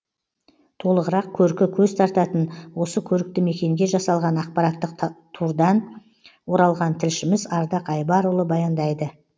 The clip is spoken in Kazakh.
толығырақ көркі көз тартатын осы көрікті мекенге жасалған ақпараттық турдан оралған тілшіміз ардақ айбарұлы баяндайды